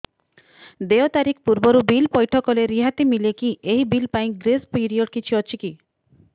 ଦେୟ ତାରିଖ ପୂର୍ବରୁ ବିଲ୍ ପୈଠ କଲେ ରିହାତି ମିଲେକି ଏହି ବିଲ୍ ପାଇଁ ଗ୍ରେସ୍ ପିରିୟଡ଼ କିଛି ଅଛିକି